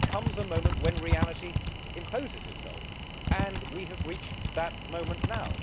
But there comes a moment when reality imposes itself, and we have reached that moment now.